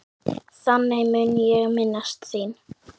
Þannig mun ég minnast þín.